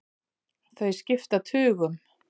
Þau skipta tugum.